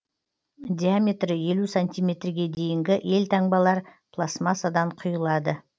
диаметрі елу сантиметрге дейінгі елтаңбалар пластмассадан құйылады